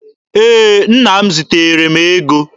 Ee, nna m ziteere m ego.